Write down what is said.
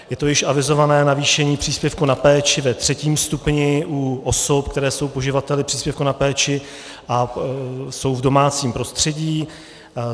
Je to již avizované navýšení příspěvku na péči ve třetím stupni u osob, které jsou poživateli příspěvku na péči a jsou v domácím prostředí.